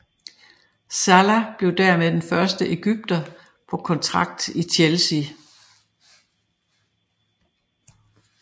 Salah blev dermed den første egypter på kontrakt i Chelsea